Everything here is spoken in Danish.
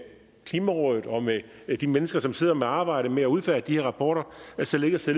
klimarådet og med de mennesker som sidder med arbejdet med at udfærdige rapporter således at